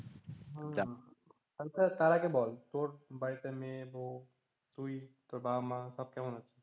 হম আচ্ছা তার আগে বল তোর বাড়িতে মেয়ে, বউ, তুই, তোর বাবা, মা সব কেমন আছে?